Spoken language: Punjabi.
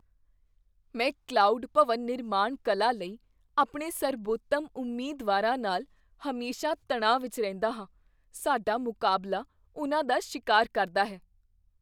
ਮੈਂ ਕਲਾਉਡ ਭਵਨ ਨਿਰਮਾਣ ਕਲਾ ਲਈ ਆਪਣੇ ਸਰਬੋਤਮ ਉਮੀਦਵਾਰਾਂ ਨਾਲ ਹਮੇਸ਼ਾ ਤਣਾਅ ਵਿੱਚ ਰਹਿੰਦਾ ਹਾਂ। ਸਾਡਾ ਮੁਕਾਬਲਾ ਉਨ੍ਹਾਂ ਦਾ ਸ਼ਿਕਾਰ ਕਰਦਾ ਹੈ।